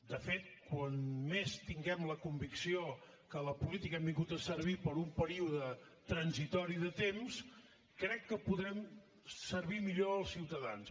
de fet com més tinguem la convicció que a la política hem vingut a servir per un període transitori de temps crec que podrem servir millor els ciutadans